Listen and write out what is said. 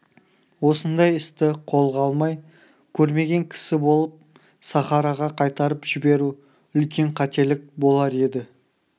осындай істі қолға алмай көрмеген кісі болып сахараға қайтарып жіберу үлкен қателік болар еді